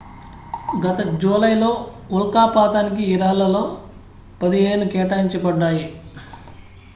గత జూలైలో ఉల్కాపాతానికి ఈ రాళ్లలో పదిహేను కేటాయించబడ్డాయి